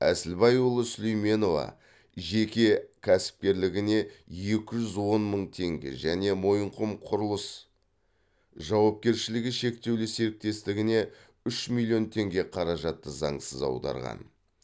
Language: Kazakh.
әсілбайұлы сулейменова жеке кәсіпкерлігіне екі жүз он мың тенге және мойынқұм құрылыс жауапкершілігі шектеулі серіктестігіне үш миллион теңге қаражатты заңсыз аударған